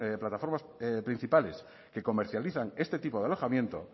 plataformas principales que comercializan este tipo de alojamiento